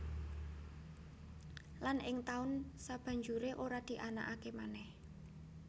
Lan ing taun sabanjuré ora dianakaké manèh